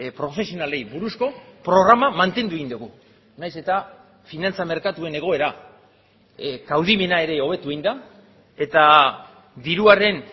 profesionalei buruzko programa mantendu egin dugu nahiz eta finantza merkatuen egoera kaudimena ere hobetu egin da eta diruaren